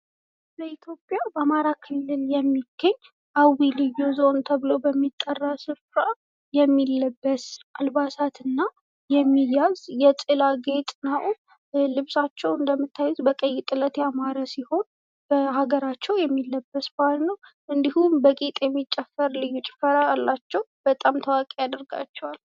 በኢትዮጵያ በአማራ ክልል የሚገኝ አዊ ልዩ ዞን ተብሎ በሚጠራው ስፍራ የሚለበስ አልባሳትና የሚያዝ የጥላ ጌጥ ነው ልብሳቸው እንደምታዩት በቀይ ጥለት ያማረ ሲሆን በሀገራቸው የሚለበስ ልብስ ነው እንዲሁም ልዩ ጭፈራ አላቸው በጣም ታዋቂ ያደርጋቸዋል።